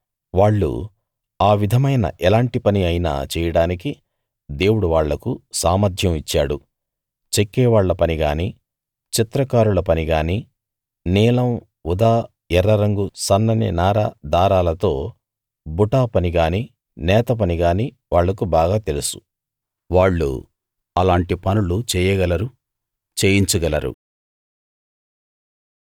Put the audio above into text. వాళ్ళు ఆ విధమైన ఎలాంటి పని అయినా చేయడానికి దేవుడు వాళ్ళకు సామర్ధ్యం ఇచ్చాడు చెక్కేవాళ్ళ పనిగానీ చిత్రకారుల పనిగానీ నీలం ఊదా ఎర్ర రంగు సన్నని నార దారాలతో బుటాపని గానీ నేతపని గానీ వాళ్లకు బాగా తెలుసు వాళ్ళు అలాంటి పనులు చెయ్యగలరు చేయించగలరు